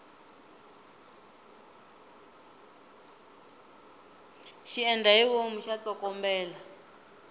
xiendlahivomu xa tsokombela